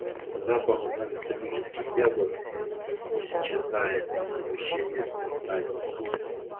запах антоновских яблок исчезает из помещичьих усадеб